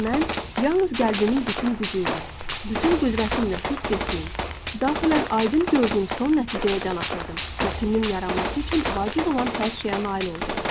Mən yalnız qəlbimin bütün gücü ilə, bütün qüdrətimlə hiss etdiyim, daxilən aydın gördüyüm son nəticəyə can atırdım və filmin yaranması üçün vacib olan hər şeyə nail oldum.